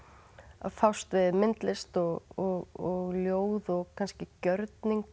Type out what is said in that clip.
að fást við myndlist og ljóð og kannski gjörning